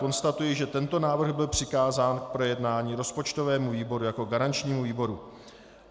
Konstatuji, že tento návrh byl přikázán k projednání rozpočtovému výboru jako garančnímu výboru.